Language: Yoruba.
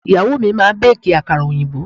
Ìyàwó mi máa bẹ́ẹ̀kì àkàrà òyìnbó.